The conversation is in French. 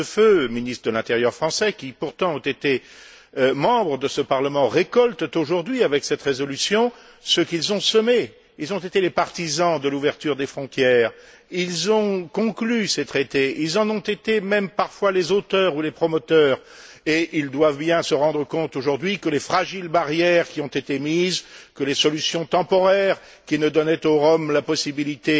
Hortefeux, ministre de l'intérieur français, qui pourtant ont été membres de ce Parlement, récoltent aujourd'hui, avec cette résolution, ce qu'ils sont semé. Ils ont été les partisans de l'ouverture des frontières, ils ont conclu ces traités, ils en ont été même parfois les auteurs ou les promoteurs et ils doivent bien se rendre compte aujourd'hui que les fragiles barrières qui ont été mises, que les solutions temporaires qui ne donnaient aux Roms la possibilité